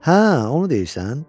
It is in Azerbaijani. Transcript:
Hə, onu deyirsən?